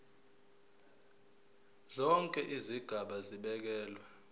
zonke izigaba zibekelwe